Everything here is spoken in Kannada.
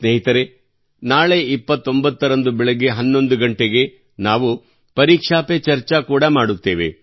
ಸ್ನೇಹಿತರೇ ನಾಳೆ 29 ರಂದು ಬೆಳಿಗ್ಗೆ 11 ಗಂಟೆಗೆ ನಾವು ಪರೀಕ್ಷಾ ಪೆ ಚರ್ಚಾ ಕೂಡ ಮಾಡುತ್ತೇವೆ